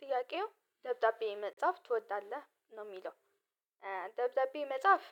ጥያቄው ደብዳቤ መጻፍ ትወዳለህ ነው የሚለው? ደብዳቤ መጻፍ